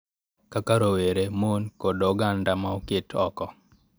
Kaka rowere, mon, kod oganda ma oket oko,